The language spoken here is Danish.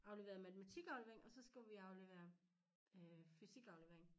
Aflevere matematikaflevering og så skulle vi aflevere øh fysikaflevering